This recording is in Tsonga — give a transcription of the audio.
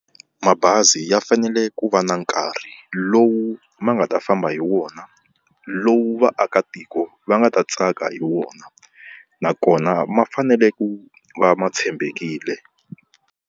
Mabazi ya fanele ku va na nkarhi lowu ma nga ta famba hi wona, lowu vaakatiko va nga ta tsaka hi wona, nakona ma fanele ku va ma tshembekile.